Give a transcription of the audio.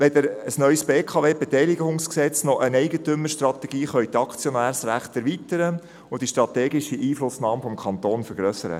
Weder ein neues BKWG noch eine Eigentümerstrategie können die Aktionärsrechte erweitern und die strategische Einflussnahme des Kantons vergrössern.